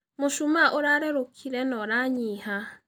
Mũchũmaa ũrarerũkĩre na ũranyĩha.